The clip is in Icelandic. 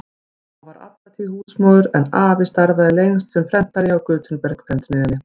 Amma var alla tíð húsmóðir en afi starfaði lengst sem prentari hjá Gutenberg-prentsmiðjunni.